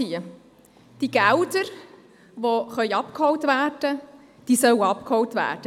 – Die Gelder, die abgeholt werden können, sollen abgeholt werden.